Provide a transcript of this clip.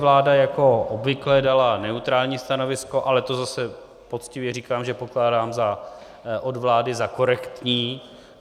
Vláda jako obvykle dala neutrální stanovisko, ale to zase poctivě říkám, že pokládám od vlády za korektní.